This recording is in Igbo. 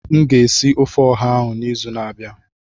M ga-esi ofe ọha ahụ n'izu na-abịa.